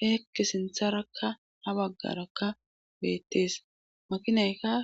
heekki sintharakka ha baggarakka beettees makinaykae